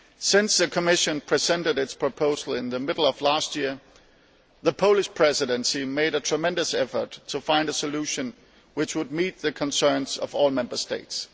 Since the Commission presented its proposal in the middle of last year, the Polish Presidency made a tremendous effort to find a solution which would meet the concerns of all Member States.